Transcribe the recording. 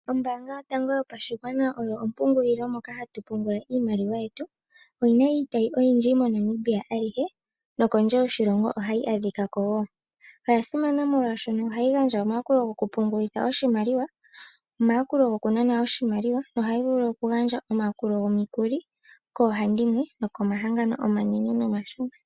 Ombaanga yotango yopashigwana oyo ompungulilo moka hatu pungungula iimaliwa yetu, oyina iitayi oyindji moNamibia alihe nokondje yoshilongo ohayi adhika kako wo. Oyasimana molwashoka ohayi gandja omayakulo go kupungulitha oshimaliwa, omayakulo go ku nana oshimaliwa na ohayi vulu okugandja omikuli kohandimwe ,komahangano omanene nomashona.